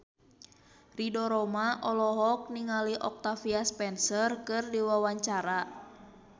Ridho Roma olohok ningali Octavia Spencer keur diwawancara